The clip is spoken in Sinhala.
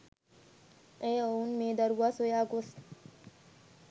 ඒ ඔවුන් මේ දරුවා සොයා ගොස්